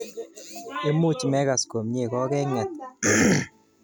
Imuch mekas komnye kokenget